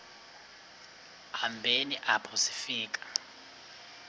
hambeni apho sifika